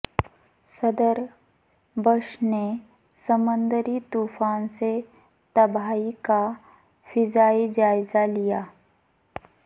صدر بش نے سمندری طوفان سے تباہی کا فضائی جائزہ لیا